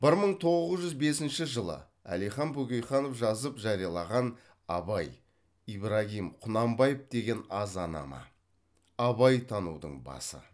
бір мың тоғыз жүз бесінші жылы әлихан бөкейханов жазып жариялаған абай ибрагим құнанбаев деген азанама абайтанудың басы